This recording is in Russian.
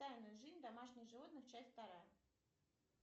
тайная жизнь домашних животных часть вторая